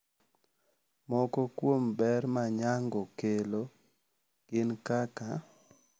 Moko kuom ber ma nyango kelo gin kaka,